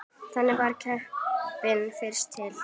Þannig varð keppnin fyrst til.